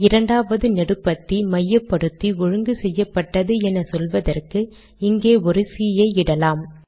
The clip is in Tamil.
இரண்டாவது நெடுபத்தி மையப்படுத்தி ஒழுங்கு செய்யப்பட்டது என சொல்வதற்கு இங்கே ஒரு சி ஐ இடலாம்